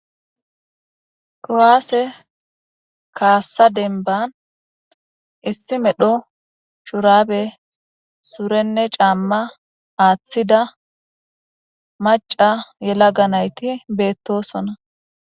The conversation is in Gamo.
kowaase kaassa denban issi medho shurabe surenne caamma aaththida maca yelaga nayti beettosona